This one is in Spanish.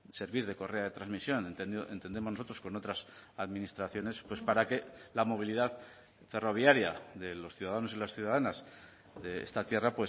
servir de correa de transmisión entendemos nosotros con otras administraciones pues para que la movilidad ferroviaria de los ciudadanos y las ciudadanas de esta tierra